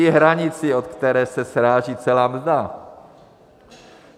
I hranici, od které se sráží celá mzda.